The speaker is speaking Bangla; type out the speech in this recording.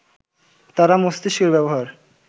তারা মস্তিষ্কের ব্যবহার